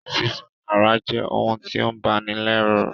Sísán àráa je oun ti o bani lẹ́rù